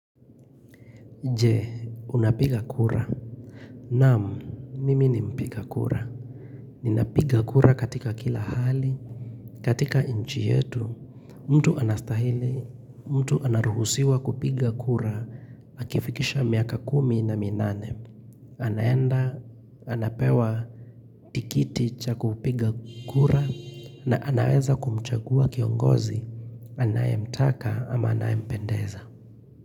Je, unapiga kura Naam, nimi ni mpiga kura Ninapiga kura katika kila hali katika nchi yetu, mtu anastahili, mtu anaruhusiwa kupiga kura Akifikisha miaka kumi na minane anaenda, anapewa tikiti cha kupiga kura na anaweza kumchagua kiongozi, anayemtaka ama anayempendeza.